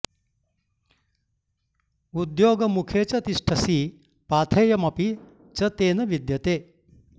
उद्योगमुखे च तिष्ठसि पाथेयमपि च ते न विद्यते